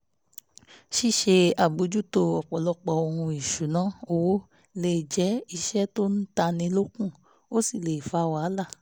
ṣíṣe àbójútó ọ̀pọ̀lọpọ̀ ohun ìṣúnná owó lè jẹ́ iṣẹ́ tó ń tánni lókun ó sì lè fa wàhálà